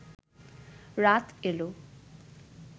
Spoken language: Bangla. রাত এল